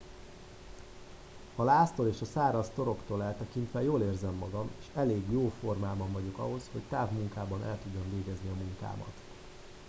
a láztól és a száraz toroktól eltekintve jól érzem magam és elég jó formában vagyok ahhoz hogy távmunkában el tudjam végezni a munkámat